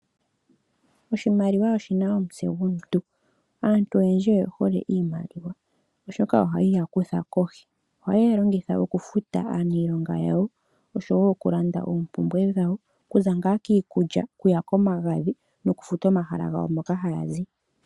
Oshimaliwa oshina omutse gomuntu, aantu oyendji oyehole iimaliwa, oshoka ohayi ya kutha kohi. Ohaye yi longitha okufuta aaniilonga yawo oshowo oku landa oompumbwe dhawo okuza ngaa kiikulya, okuya komagadhi nokufuta omahala gawo moka haya zi.